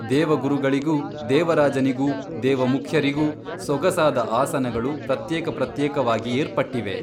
ದೇವಗುರುಗಳಿಗೂ ದೇವರಾಜನಿಗೂ ದೇವಮುಖ್ಯರಿಗೂ ಸೊಗಸಾದ ಆಸನಗಳು ಪ್ರತ್ಯೇಕ ಪ್ರತ್ಯೇಕವಾಗಿ ಏರ್ಪಟ್ಟಿವೆ.